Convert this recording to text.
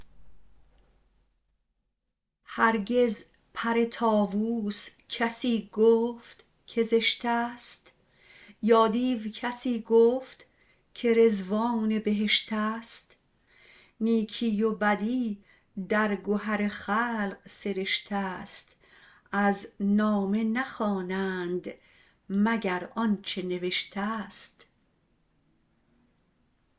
هرگز پر طاووس کسی گفت که زشتست یا دیو کسی گفت که رضوان بهشتست نیکی و بدی در گهر خلق سرشتست از نامه نخوانند مگر آنچه نوشتست